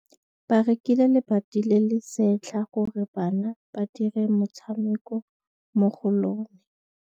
Ba rekile lebati le le setlha gore bana ba dire motshameko mo go lona.